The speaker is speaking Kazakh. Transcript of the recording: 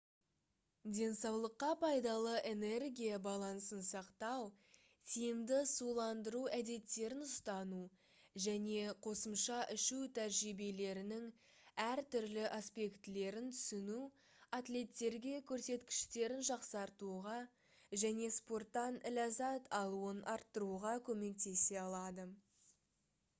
денсаулыққа пайдалы энергия балансын сақтау тиімді суландыру әдеттерін ұстану және қосымша ішу тәжірибелерінің әртүрлі аспектілерін түсіну атлеттерге көрсеткіштерін жақсартуға және спорттан ләззат алуын арттыруға көмектесе алады